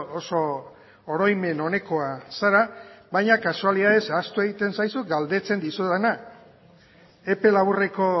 oso oroimen onekoa zara baina kasualitatez ahaztu egiten zaizu galdetzen dizudana epe laburreko